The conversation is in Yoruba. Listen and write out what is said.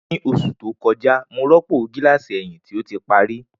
Ni oṣu to kọja, Mo rọpo gilasi ẹhin ti o ti pari.